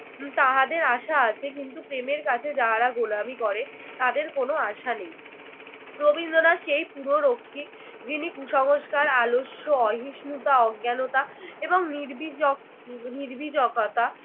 তাহাদের আশা আছে। কিন্তু প্রেমের কাছে যাহারা গোলামি করে তাদের কোন আশা নেই। রবীন্দ্রনাথ সেই পুর রক্ষী যিনি কুসংস্কার, আলস্য, অসহিষ্ণুতা, অজ্ঞানতা এবং নির্বীজ নির্বীজকতা